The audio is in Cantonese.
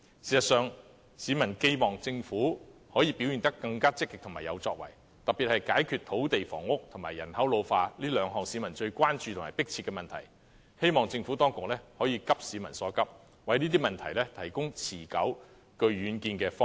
事實上，市民寄望政府可以表現得更積極和有作為，特別是解決土地房屋和人口老化這兩項市民最關注和迫切的問題，希望政府當局可以急市民所急，為這些問題提供持久、具遠見的方案。